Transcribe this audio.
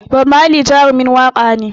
Bob Marley Jarumin waƙa ne